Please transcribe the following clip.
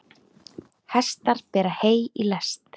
Hestar bera hey í lest.